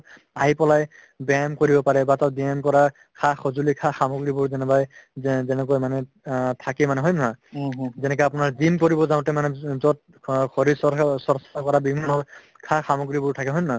আহি পেলাই ব্যায়াম কৰিব পাৰে বা তাত ব্যায়াম কৰা সা-সঁজুলি সা-সামগ্ৰীবোৰ কোনোবাই যেনেকৈ মানুহে আ থাকে মানুহ হয়নে নহয় যেনেকা আপোনাৰ gym কৰিব যাওতে মানে যত অ শৰীৰ চৰ্চা চৰ্চা কৰা gym হয় সা-সামগ্ৰীবোৰ থাকে হয়নে নহয়